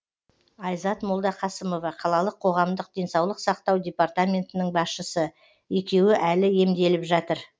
айзат молдақасымова қалалық қоғамдық денсаулық сақтау департаментінің басшысы екеуі әлі емделіп жатыр